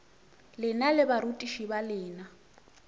lena le barutiši ba lena